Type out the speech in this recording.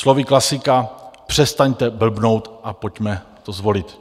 Slovy klasika: "Přestaňte blbnout a pojďme to zvolit."